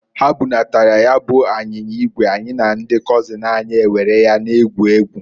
Ha bunatara ya bu anyinya igwe, anyị na ndị kọzin anyị ewere ya na-egwu egwu.